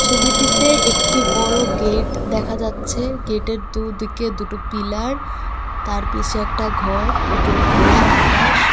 ছবিটিতে একটি বড়ো গেট দেখা যাচ্ছে গেটের দুদিকে দুটো পিলার তার পিছে একটা ঘর ওপরে খোলা আকাশ.